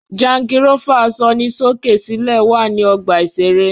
Jangirófà asọnisókè-sílẹ̀ wà ní ọgbà-ìṣeré